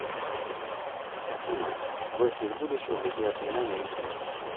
афина гости из будущего беги от меня на ютуб